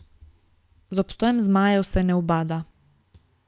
Z obstojem zmajev se ne ubada.